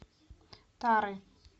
тары